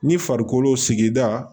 Ni farikolo sigida